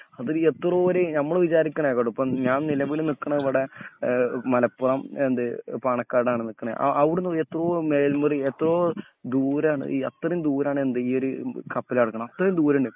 അതെ എത്രയോവരെ ഞമ്മള് വിചാരിക്കണേക്കാളും എളുപ്പം ഞാൻ നിലമ്പൂരിൽ നിക്കണേ ഇവിടെ ആ മലപ്പുറം എന്ത് പണക്കാടാണ് നിക്കണേ അ അവിടുന്ന് എത്രയോ മേൽമുറി എത്രയോദൂരാണ് എ അത്രേം ദൂരാണ് എന്ത് ഈ ഒരു കപ്പലുകിടക്കണേ അത്രേം ദുരാണ്.